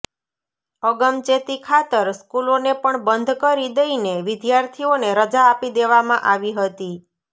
અગમચેતી ખાતર સ્કૂલોને પણ બંધ કરી દઇને વિદ્યાર્થીઓને રજા આપી દેવામાં આવી હતી